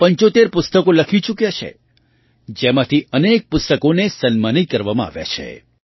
તેઓ ૭૫ પુસ્તકો લખી ચૂક્યા છે જેમાંથી અનેક પુસ્તકોને સન્માનિત કરવામાં આવ્યાં છે